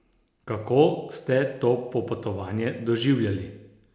Kako ste to popotovanje doživljali?